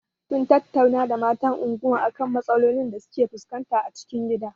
Mun tattauna da matan unguwar a kan matsalolin da suke fuskanta a cikin gida.